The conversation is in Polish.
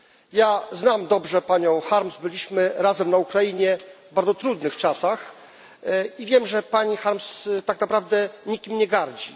Ja znam dobrze panią Harms, byliśmy razem na Ukrainie w bardzo trudnych czasach, i wiem, że pani Harms tak naprawdę nikim nie gardzi.